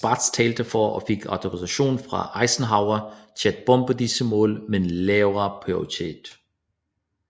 Spaatz talte for og fik autorisation fra Eisenhower til at bombe disse mål med en lavere prioritet